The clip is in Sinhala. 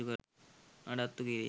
නඩත්තු කිරීම